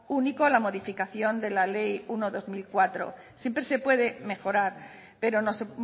único a la modificación de la ley uno barra dos mil cuatro siempre se puede mejorar pero no se